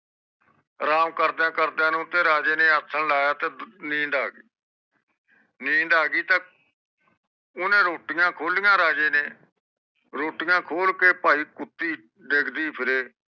ਰਾਮ ਕਰਦਿਆਂ ਕਰਦਿਆਂ ਰਾਜੇ ਨੇ ਅਸਾਂ ਲਾਯਾ ਤੇ ਨੀਂਦ ਆ ਗਯੀ ਨੀਂਦ ਆ ਗਯੀ ਤੇ ਓਹਨੇ ਰੋਟੁਇਆ ਖੋਲਿਆ ਤੇ ਤੇ ਭਾਈ ਕੁੱਤੀ ਡਿਗ ਦੀ ਫਿਰੇ